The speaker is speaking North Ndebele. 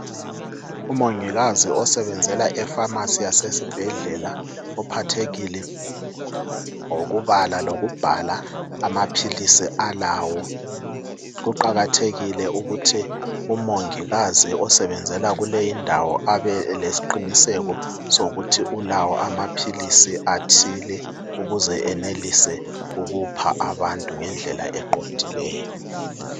Umongikazi osebenzela efamasi yasesibhedlela uphathekile ngokubala lokubhala amaphilisi alawo. Kuqakathekile ukuthi umongikazi osebenzela kuley' indawo abelesiqiniseko sokuthi ulawo amaphilisi athile ukuze enelise ukupha abantu ngendlela eqondileyo.